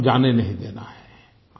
ये मौसम जाने नहीं देना है